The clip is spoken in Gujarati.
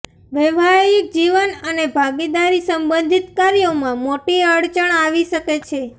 વૈવાહિક જીવન અને ભાગીદારી સંબંધિત કાર્યોમાં મોટી અડચણ આવી શકે છે